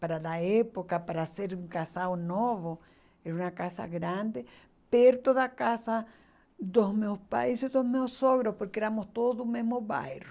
Para a época, para ser um casal novo, era uma casa grande, perto da casa dos meus pais e dos meus sogros, porque éramos todos do mesmo bairro.